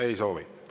Ei soovi.